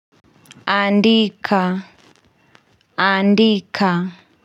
Andika. Andika.